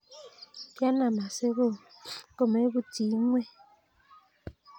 Kianam asi komeputyi ing'weny.